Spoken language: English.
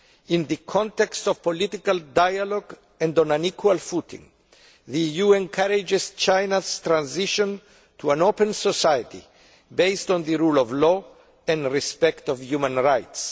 In the context of political dialogue and on an equal footing, the EU encourages China's transition to an open society based on the rule of law and respect for human rights.